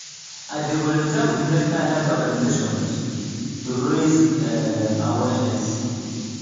i dey volunteer with mental health organizations to raise um awareness.